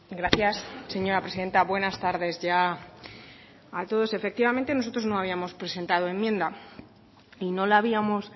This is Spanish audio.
gracias señora presidenta buenas tardes ya a todos efectivamente nosotros no habíamos presentado enmienda y no la habíamos